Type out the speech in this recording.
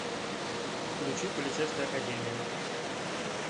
включи полицейская академия